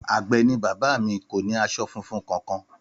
Àgbẹ̀ ni bàbá mi, kò ní aṣọ funfun kankan